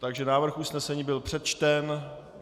Takže návrh usnesení byl přečten.